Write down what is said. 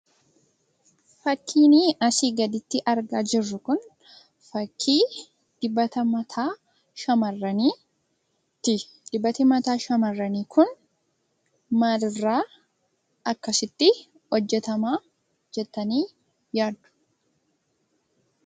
Fakkiin asii gadi irratti arga jirru kun, fakkii dibata mataa shamarraniiti. Dibati mataa shamarranii kun maalirraa akkasitti hojjetama jettanii yaaddu?